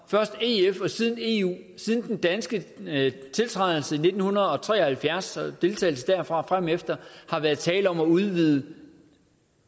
først i ef og siden eu siden den danske tiltrædelse i nitten tre og halvfjerds og deltagelse derfra og fremefter har været tale om at udvide